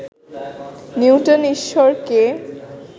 Newton ঈশ্বরকে